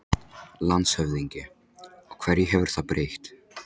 LANDSHÖFÐINGI: Og hverju hefur það breytt?